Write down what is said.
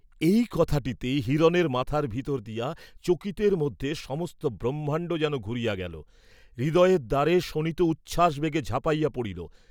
এই কথাটীতে হিরণের মাথার ভিতর দিয়া চকিতের মধ্যে সমস্ত ব্রহ্মাণ্ড যেন ঘুরিয়া গেল, হৃদয়ের দ্বারে শোণিত উচ্ছ্বাস বেগে ঝাঁপাইয়া পড়িল।